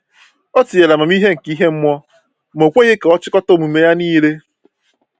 Ọ tinyere amamihe nke ihe mmụọ, ma o kweghị ka ọ chịkọta omume ya niile.